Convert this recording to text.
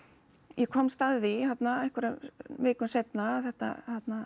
ég komst að því þarna einhverjum vikum seinna að þetta